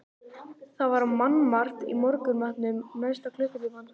Það var mannmargt í morgunmatnum næsta klukkutímann.